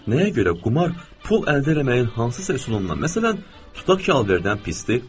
Nəyə görə qumar pul əldə eləməyin hansısa üsulundan, məsələn, tutaq ki, alverrdən pisdir?